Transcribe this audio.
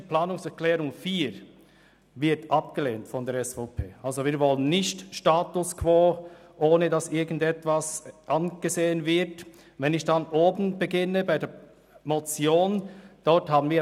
Die Planungserklärung 4 lehnen wir ab, wir wollen nicht den Status quo erhalten, ohne dass irgendetwas angeschaut wird.